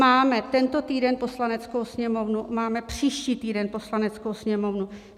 Máme tento týden Poslaneckou sněmovnu, máme příští týden Poslaneckou sněmovnu.